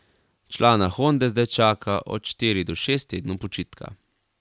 Člana Honde zdaj čaka od štiri do šest tednov počitka.